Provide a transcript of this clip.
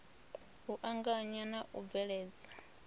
u anganya na u bveledzwa